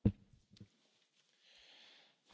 Herr Präsident, meine sehr geehrten Damen und Herren!